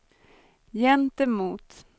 gentemot